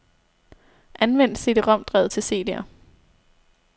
Anvend cd-rom-drevet til cd'er.